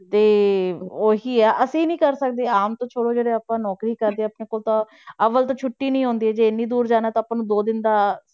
ਤੇ ਉਹੀ ਹੈ ਅਸੀਂ ਨੀ ਕਰ ਸਕਦੇ ਆਮ ਤਾਂ ਛੋੜੋ ਜਿਹੜੇ ਆਪਾਂ ਨੌਕਰੀ ਕਰਦੇ ਹਾਂ ਆਪਣੇ ਕੋਲ ਤਾਂ, ਅਵਲ ਤਾਂ ਛੁੱਟੀ ਨੀ ਆਉਂਦੀ ਜੇ ਇੰਨੀ ਦੂਰ ਜਾਣਾ ਤਾਂ ਆਪਾਂ ਨੂੰ ਦੋ ਦਿਨ ਦਾ,